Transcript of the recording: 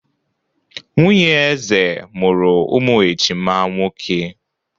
Nwunye eze mụrụ ụmụ ejima nwoke.